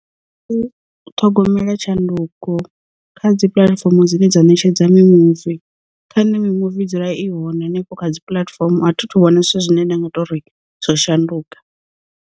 U ṱhogomela tshanduko kha dzi puḽatifomo dzine dza ṋetshedza mi muvi, kha nṋe mimuvi dzula i hone hanefho kha dzi puḽatifomo a thi thu vhona zwithu zwine nda nga to ri zwo shanduka.